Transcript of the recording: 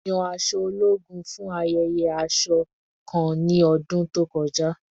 Yan aṣọ ologun fun ayẹyẹ aṣọ kan ni ọdun to kọja